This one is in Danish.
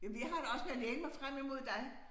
Jamen jeg har det også med at læne mig frem imod dig